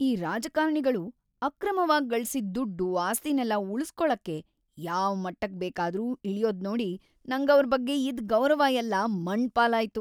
ಈ ರಾಜಕಾರಣಿಗಳು ಅಕ್ರಮವಾಗ್‌ ಗಳ್ಸಿದ್‌ ದುಡ್ಡು, ಆಸ್ತಿನೆಲ್ಲ ಉಳುಸ್ಕೊಳಕ್ಕೆ ಯಾವ್‌ ಮಟ್ಟಕ್‌ ಬೇಕಾದ್ರೂ ಇಳ್ಯೋದ್ನೋಡಿ ನಂಗವ್ರ್‌ ಬಗ್ಗೆ ಇದ್ದ್‌ ಗೌರವಯೆಲ್ಲ ಮಣ್ಣ್‌ ಪಾಲಾಯ್ತು.